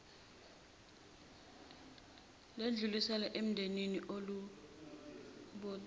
ledluliselwa endodeni elobolile